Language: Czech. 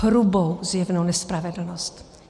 Hrubou zjevnou nespravedlnost.